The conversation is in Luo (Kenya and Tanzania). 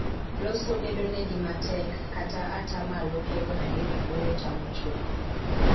Loso bedo ne gi matek, ka ata malo piero adek wuoyo tamo chuth.